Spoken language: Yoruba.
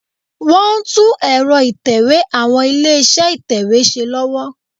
Wọ́n ń tún ẹ̀rọ ìtẹ̀wé àwọn ilé-iṣẹ́ ìtẹ̀wé ṣe lọ́wọ́